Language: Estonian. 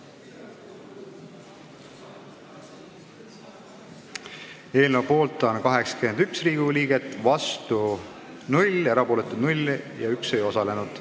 Hääletustulemused Eelnõu poolt on 81 Riigikogu liiget, vastuolijaid ega erapooletuid ei ole, üks Riigikogu liige ei osalenud.